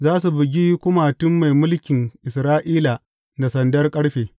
Za su bugi kumatun mai mulkin Isra’ila da sandar ƙarfe.